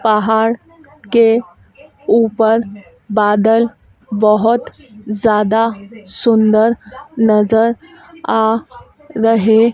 पहाड़ के ऊपर बादल बहोत ज्यादा सुंदर नजर आ रहे--